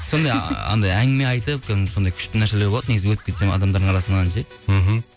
сондай анандай әңгіме айтып кәдімгі сондай күшті нәрселер болады негізі өтіп кетсем адамдар арасынан ше мхм